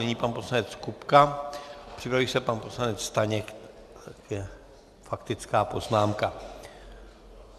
Nyní pan poslanec Kupka, připraví se pan poslanec Staněk také k faktické poznámce.